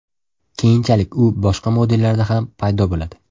Keyinchalik u boshqa modellarda ham paydo bo‘ladi.